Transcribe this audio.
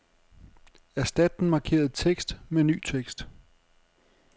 Erstat den markerede tekst med ny tekst.